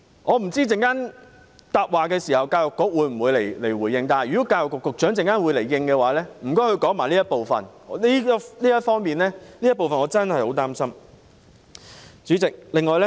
我不知道在稍後的答辯環節，教育局局長會否回應，如果局長稍後會作出回應，麻煩他就這部分講解一下，我真的很擔心這方面。